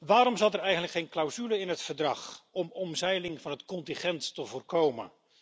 Waarom zat er eigenlijk geen clausule in het verdrag om omzeiling van het contingent te voorkomen?